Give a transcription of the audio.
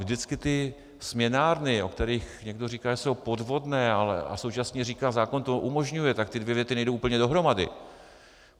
Vždycky ty směnárny, o kterých někdo říká, že jsou podvodné, ale současně říká "zákon to umožňuje", tak ty dvě věty nejdou úplně dohromady.